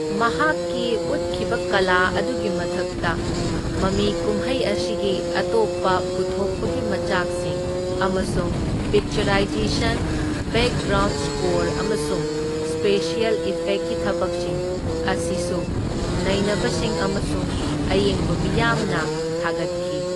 ꯃꯍꯥꯛꯀꯤ ꯎꯠꯈꯤꯕ ꯀꯂꯥ ꯑꯗꯨꯒꯤ ꯃꯊꯛꯇ ꯃꯃꯤ ꯀꯨꯝꯍꯩ ꯑꯁꯤꯒꯤ ꯑꯇꯣꯞꯄ ꯄꯨꯊꯣꯛꯄꯒꯤ ꯃꯆꯥꯛꯁꯤꯡ ꯑꯃꯁꯨꯡ ꯄꯤꯛꯆꯔꯥꯏꯖꯦꯁꯟ, ꯕꯦꯛꯒ꯭ꯔꯥꯎꯟꯗ ꯁ꯭ꯀꯣꯔ ꯑꯃꯁꯨꯡ ꯁ꯭ꯄꯦꯁꯤꯑꯦꯜ ꯏꯐꯦꯛꯀꯤ ꯊꯕꯛꯁꯤꯡ ꯑꯁꯤꯁꯨ ꯅꯩꯅꯕꯁꯤꯡ ꯑꯃꯁꯨꯡ ꯑꯌꯦꯡꯕ ꯃꯤꯌꯥꯝꯅ ꯊꯥꯒꯠꯈꯤ꯫